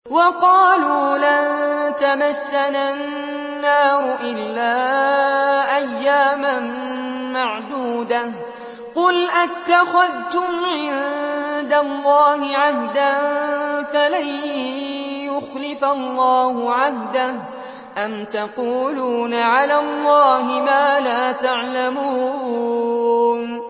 وَقَالُوا لَن تَمَسَّنَا النَّارُ إِلَّا أَيَّامًا مَّعْدُودَةً ۚ قُلْ أَتَّخَذْتُمْ عِندَ اللَّهِ عَهْدًا فَلَن يُخْلِفَ اللَّهُ عَهْدَهُ ۖ أَمْ تَقُولُونَ عَلَى اللَّهِ مَا لَا تَعْلَمُونَ